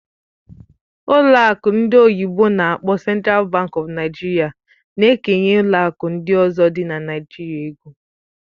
Ụlọ akụ ndị oyibo n'akpọ "Central Bank of Nigeria" na-ekenye ụlọ akụ ndị ọzọ dị na Naịjirịa ego.